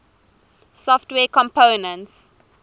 software components